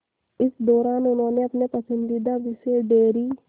इस दौरान उन्होंने अपने पसंदीदा विषय डेयरी